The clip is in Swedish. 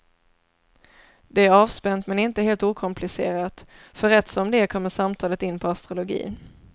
Det är avspänt men inte helt okomplicerat, för rätt som det är kommer samtalet in på astrologi.